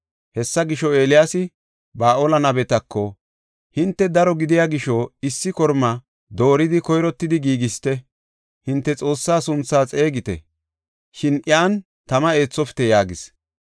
Hessa gisho, Eeliyaasi Ba7aale nabetako, “Hinte daro gidiya gisho, issi korma dooridi koyrottidi giigisite. Hinte xoossaa sunthaa xeegite; shin iyan tama eethofite” yaagis.